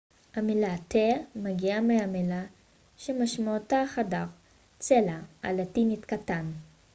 המילה תא מגיעה מהמילה הלטינית cella שמשמעותה חדר קטן